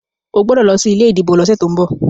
o gbódò ló sí ilé ìdìbò ló sẹ to'n bọ!